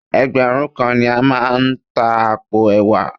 Ẹgbẹ̀rún kan ni a máa ta àpò ẹ̀wà